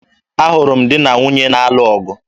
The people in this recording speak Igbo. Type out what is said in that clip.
Ahụrụ m di na nwunye na-alụ ọgụ